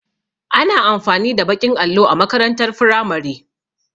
Ana amfani da baƙin allo a makarantar firamare